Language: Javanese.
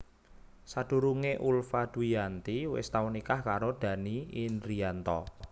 Sadurungé Ulfa Dwiyanti wis tau nikah karo Dhanny Indrianto